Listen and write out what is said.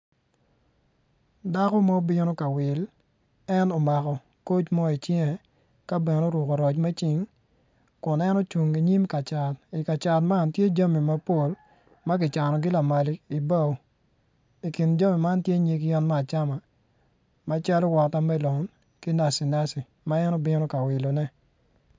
Dako ma obino ka wil en omako koc mo i cinge ka bene oruku roc me cing kunn en ocung inyim ka cat i ka cat man tye jami mapol ma kicanogi lamal i bao i kinjami man tye nyig yen me acama macalo wota melon ki naci naci ma en obino ka wilone